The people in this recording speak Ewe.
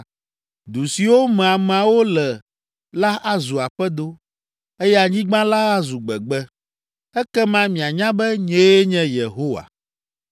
Du siwo me ameawo le la azu aƒedo, eye anyigba la azu gbegbe. Ekema mianya be nyee nye Yehowa.’ ”